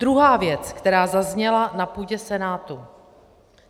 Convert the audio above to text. Druhá věc, která zazněla na půdě Senátu.